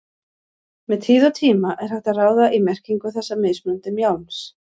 Með tíð og tíma er hægt að ráða í merkingu þessa mismunandi mjálms.